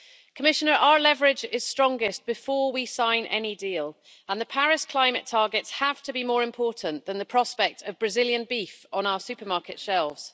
Commissioner, our leverage is strongest before we sign any deal, and the Paris climate targets have to be more important than the prospect of Brazilian beef on our supermarket shelves.